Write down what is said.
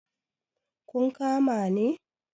kun kama ne?